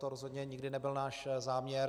To rozhodně nikdy nebyl náš záměr.